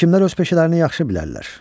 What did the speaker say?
Həkimlər öz peşələrini yaxşı bilərlər.